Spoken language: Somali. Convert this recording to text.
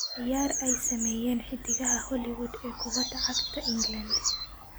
ciyaar ay sameeyeen xiddigaha Hollywood ee kubada cagta England